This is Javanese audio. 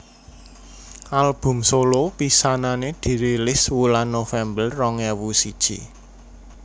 Album solo pisanané dirilis wulan November rong ewu siji